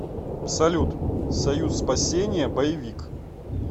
салют союз спасение боевик